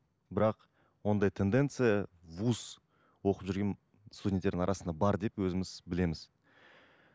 бірақ ондай тенденция вуз оқып жүрген студенттердің арасында бар деп өзіміз білеміз